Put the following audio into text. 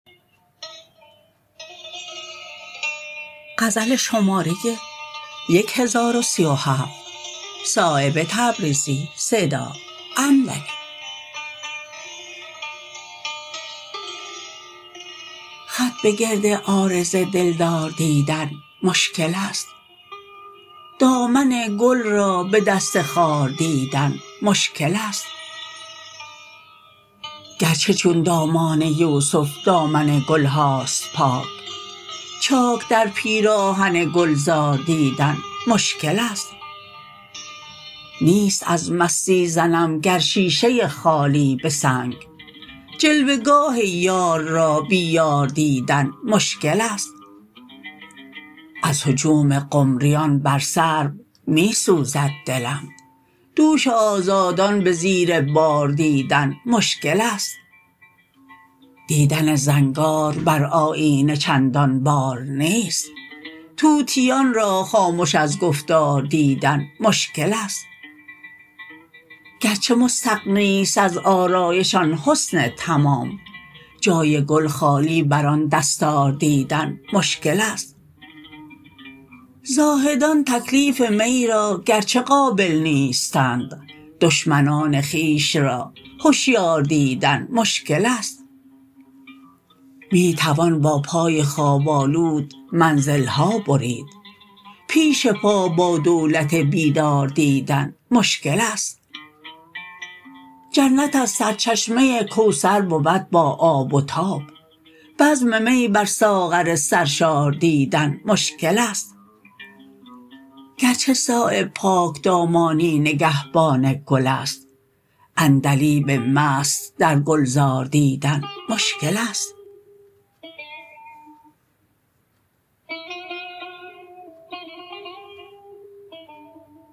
خط به گرد عارض دلدار دیدن مشکل است دامن گل را به دست خار دیدن مشکل است گرچه چون دامان یوسف دامن گلهاست پاک چاک در پیراهن گلزار دیدن مشکل است نیست از مستی زنم گر شیشه خالی به سنگ جلوه گاه یار را بی یار دیدن مشکل است از هجوم قمریان بر سرو می سوزد دلم دوش آزادان به زیر بار دیدن مشکل است دیدن زنگار بر آیینه چندان بار نیست طوطیان را خامش از گفتار دیدن مشکل است گرچه مستغنی است از آرایش آن حسن تمام جای گل خالی بر آن دستار دیدن مشکل است زاهدان تکلیف می را گرچه قابل نیستند دشمنان خویش را هشیار دیدن مشکل است می توان با پای خواب آلود منزلها برید پیش پا با دولت بیدار دیدن مشکل است جنت از سرچشمه کوثر بود با آب و تاب بزم می بر ساغر سرشار دیدن مشکل است گرچه صایب پاکدامانی نگهبان گل است عندلیب مست در گلزار دیدن مشکل است